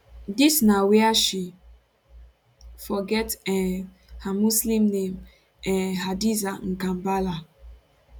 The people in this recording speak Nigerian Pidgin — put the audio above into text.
dis na wia she for get um her muslim name um hadiza mkambala